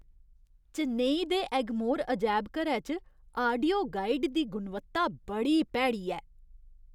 चेन्नई दे एगमोर अजैबघरै च आडियो गाइड दी गुणवत्ता बड़ी भैड़ी ऐ।